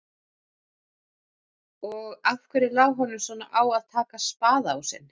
Og af hverju lá honum svona á að taka spaðaásinn?